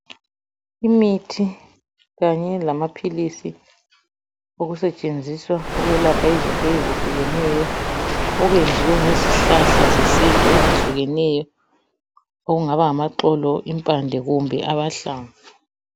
Imithi kanye lamaphilisi okusetshenziswa ukwelapha izifo ezehlukeneyo. Okuyenziwe ngezihlahla zesintu ezehlukeneyo okungaba ngamaxolo, impande kumbe amahlamvu.